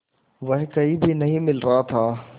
वह कहीं भी नहीं मिल रहा था